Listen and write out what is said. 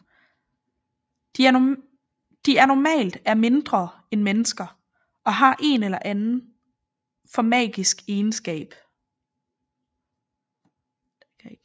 De er normalt er mindre end mennesker og har en eller anden for magiske egenskab